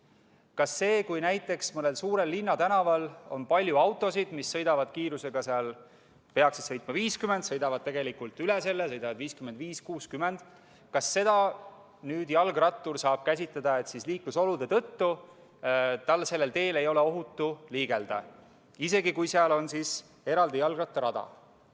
Kas seda, kui näiteks mõnel suurel linnatänaval on palju autosid, mis peaksid sõitma kiirusega 50 km/h, aga mis sõidavad tegelikult kiiremini, näiteks 55 või 60 km/h, saab jalgrattur käsitleda nii, et liiklusolude tõttu ei ole tal sellel teel ohutu liigelda, isegi kui seal on eraldi jalgrattarada?